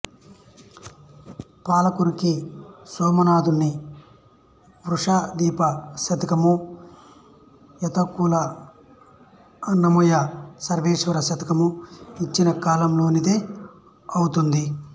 పాలకురికి సోమనాధుని వృషాధిప శతకము యాతావక్కుల అన్నమయ్య సర్వేశ్వర శతకము వచ్చిన కాలంలోనిదే అవుతుంది